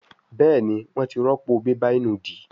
Béèni wón tí rọpo bébà ìnùdí.